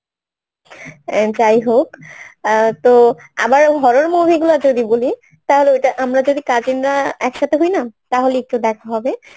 অ্যাঁ যাই হোক অ্যাঁ তো আবার horror movie গুলো যদি বলি তাহলে ওটা আমরা যদি cousin রা একসাথে হই না তাহলে একটু দেখা হবে